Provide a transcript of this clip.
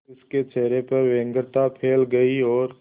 फिर उसके चेहरे पर व्यग्रता फैल गई और